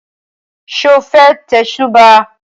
Sọ fẹ́ tẹ̀sùbáà?